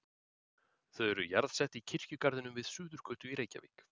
Þau eru jarðsett í kirkjugarðinum við Suðurgötu í Reykjavík.